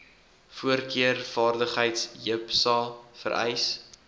voorkeurvaardighede jipsa vereis